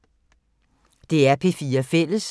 DR P4 Fælles